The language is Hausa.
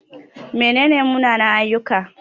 Mene ne munanan-ayyuka?